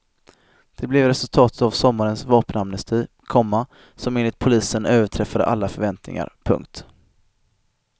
Det blev resultatet av sommarens vapenamnesti, komma som enligt polisen överträffade alla förväntningar. punkt